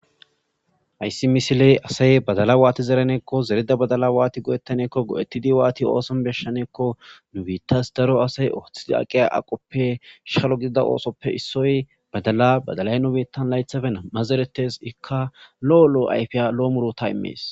Hayssi misiley asay badala waati zereneekko zereda badala waati godettaneekko go'etidi waati ooson beshshaneekko nubitas daro asay oothi aqeya aqoppe shkhalo gidida oosoppe issoy badala badalay nubettan laythafe amma zeretes ikka lo'o lo'o ayfiya lo'o murota immees.